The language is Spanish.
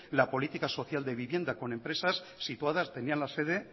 la política social de vivienda con empresas situadas tenían la sede